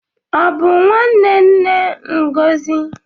Ọ bụ nwanne nne Ngozi?